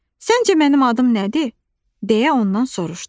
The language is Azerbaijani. Səncə mənim adım nədir deyə ondan soruşdu.